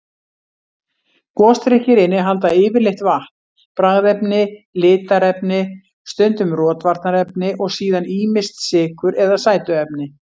Gosdrykkir innihalda yfirleitt vatn, bragðefni, litarefni, stundum rotvarnarefni og síðan ýmist sykur eða sætuefni.